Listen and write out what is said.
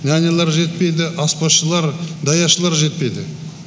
нянялар жетпейді аспазшылар даяшылар жетпейді